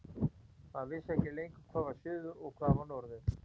Maður vissi ekki lengur hvað var suður og hvað var norður.